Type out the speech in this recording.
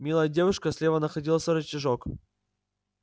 милая девушка слева находился рычажок